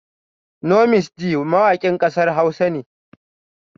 Nomis gee mawakin kasar Hausa ne